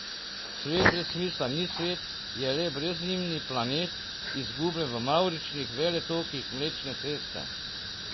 Svet brez smisla ni svet, je le brezimni planet, izgubljen v mavričnih veletokih Mlečne ceste.